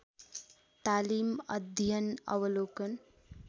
तालीम अध्ययन अवलोकन